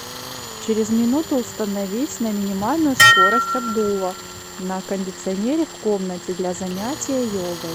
через минуту установить на минимальную скорость обдува на кондиционере в комнате для занятия йогой